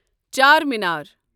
Charminar